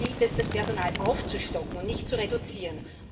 Hier gilt es, das Personal aufzustocken und nicht zu reduzieren.